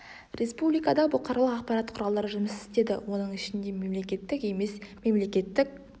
республикада бұқаралық ақпарат құралдары жұмыс істеді онын ішінде мемлекеттік емес мемлекеттік